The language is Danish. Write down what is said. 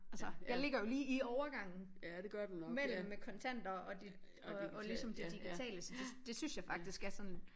Altså jeg ligger jo lige i overgangen mellem med kontanter og dit og og ligesom det digitale så det syens jeg faktisk er sådan